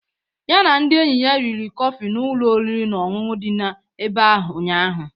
Ya na ndị enyi ya riri kọfị n'ụlọ oriri na ọṅụṅụ dị n'ebe ahụ ụnyaahụ.